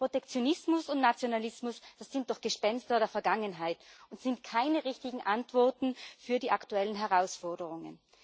Protektionismus und Nationalismus das sind doch Gespenster der Vergangenheit und sind keine richtigen Antworten auf die aktuellen Herausforderungen.